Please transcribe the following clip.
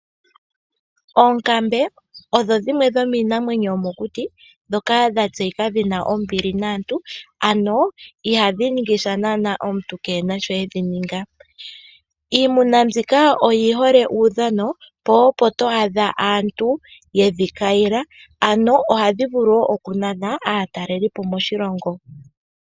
Oonkambe odho dhimwe dhomiinamwenyo yomokuti ndhoka dha tseyika dhi na ombili naantu ano ihadhi ningi sha naana omuntu ke e na sho e dhi ninga. Iimuna mbika oyi hole uudhano po opo to adha aantu ye dhi kayila ano ohadhi vulu wo okunana aatalelipo moshilongo.